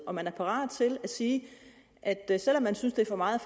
om man er parat til at sige at at selv om man synes det er for meget